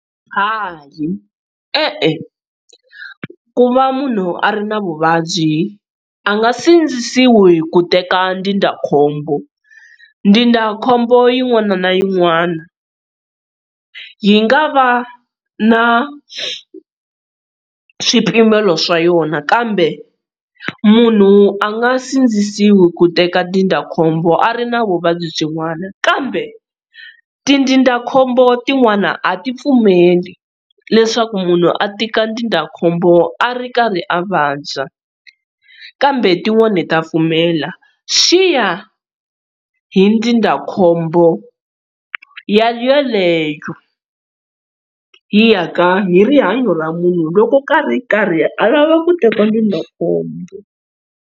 Hayi, e-e, ku va munhu a ri na vuvabyi a nga sindzisiwi ku teka ndzindzakhombo, ndzindzakhombo yin'wana na yin'wana yi nga va na swipimelo swa yona kambe munhu a nga sindzisiwi ku teka ndzindzakhombo a ri na vuvabyi byin'wana kambe tindzindzakhombo tin'wani a ti pfumeli leswaku munhu a teka ndzindzakhombo a ri karhi a vabya kambe tin'wani ta pfumela swi ya hi ndzindzakhombo yaleyo yi ya ka hi rihanyo ra munhu loko a ri karhi alava ku teka ndzindzakhombo.